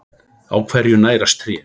Á hverju nærast tré?